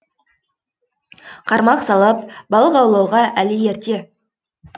қармақ салып балық аулауға әлі ерте